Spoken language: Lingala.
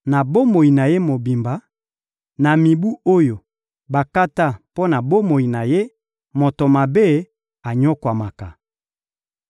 Na bomoi na ye mobimba, na mibu oyo bakata mpo na bomoi na ye, moto mabe anyokwamaka.